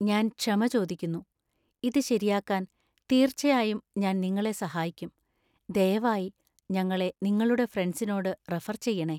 ഞാൻ ക്ഷമ ചോദിക്കുന്നു, ഇത് ശെരിയാക്കാൻ തീർച്ചയായും ഞാൻ നിങ്ങളെ സഹായിക്കും. ദയവായി ഞങ്ങളെ നിങ്ങളുടെ ഫ്രണ്ട്സിനോട് റഫർ ചെയ്യണേ